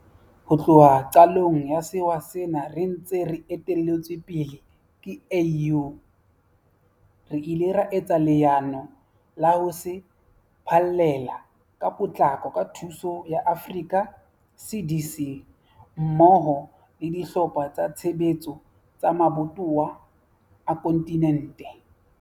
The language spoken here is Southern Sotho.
Ho tloha qalong ya sewa sena re ntse re etelletswe pele ke AU, re ile ra etsa leano la ho se phallela ka potlako ka thuso ya Africa CDC mmoho le dihlopha tsa tshebetso tsa mabatowa a kontinente.